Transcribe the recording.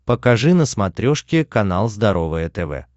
покажи на смотрешке канал здоровое тв